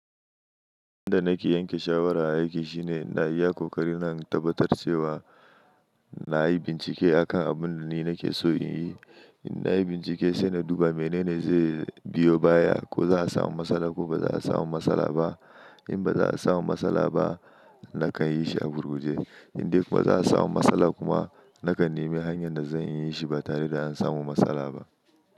Inda nake yanke shawara aiki shine na iya koƙarina in tabbatar cewa na yi bincike akan abun da ni nake so in yi. In na yi bincike sai na duba menene zai biyo baya, ko za a samu matsala ko ba za a samu matsala ba. In ba za a samu matsala ba nakan yi shi a gurguje. In dai ba za a samu matsala kuma nakan nemi hanyar da zan iya shi ba tare da in samu matsala ba.